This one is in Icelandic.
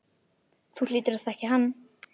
Þú hlýtur að þekkja hann.